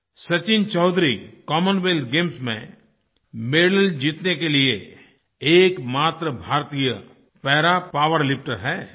Sachin Chaudhary Commonwealth Games में medal जीतने के लिए एकमात्र भारतीय पारा पावरलिफ्टर हैं